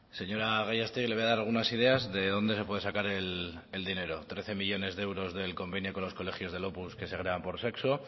señora gallástegui le voy a dar algunas ideas de dónde se puede sacar el dinero trece millónes de euros del convenio con los colegios de opus que segregan por sexo